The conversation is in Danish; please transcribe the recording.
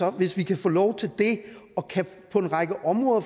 at hvis vi kan få lov til det og på en række områder